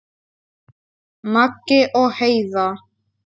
Maggi og Heiða.